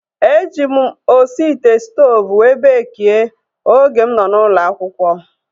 E ji m osi ite stoovu wee beekie oge m nọ n'ụlọ akwụkwọ